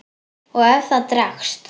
Og ef það dregst.